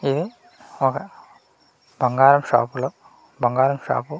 ఇది ఒక బంగారం షాప్ లో బంగారం షాప్ .